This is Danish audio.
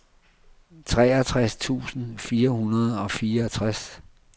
treogtres tusind fire hundrede og fireogtres